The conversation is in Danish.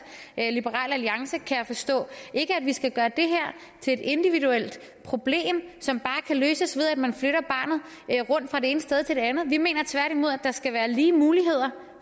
liberal alliance kan jeg forstå ikke at vi skal gøre det her til et individuelt problem som bare kan løses ved at man flytter barnet rundt fra det ene sted til det andet vi mener tværtimod der skal være lige muligheder